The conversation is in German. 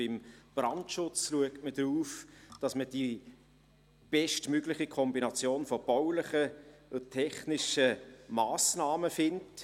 Beim Brandschutz schaut man darauf, dass man die bestmögliche Kombination von baulichen und technischen Massnahmen findet.